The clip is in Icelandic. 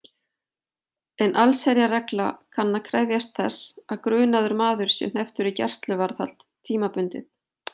En allsherjarregla kann að krefjast þess að grunaður maður sé hnepptur í gæsluvarðhald tímabundið.